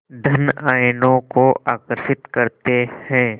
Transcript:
धन आयनों को आकर्षित करते हैं